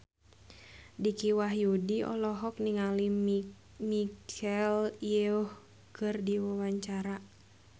Dicky Wahyudi olohok ningali Michelle Yeoh keur diwawancara